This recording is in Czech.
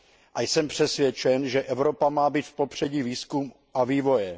A jsem přesvědčen, že Evropa má být v popředí výzkumu a vývoje.